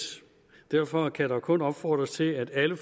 derfor kan der kun opfordres til at alle